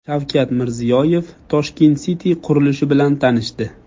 Shavkat Mirziyoyev Tashkent City qurilishi bilan tanishdi .